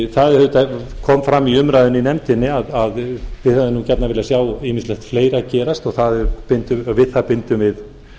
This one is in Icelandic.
það kom fram í umræðunni í nefndinni að við hefðum gjarnan viljað sá ýmislegt fleira gerist og við það bindum við